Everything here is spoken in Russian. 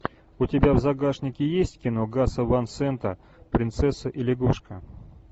у тебя в загашнике есть кино гаса ван сента принцесса и лягушка